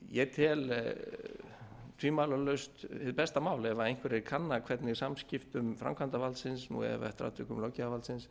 ég tel tvímælalaust hið besta mál ef einhverjir kanna hvernig samskiptum framkvæmdarvaldsins eða eftir atvikum löggjafarvaldsins